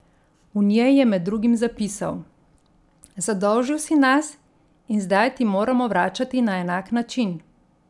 V njej je med drugim zapisal: 'Zadolžil si nas in zdaj ti moramo vračati na enak način.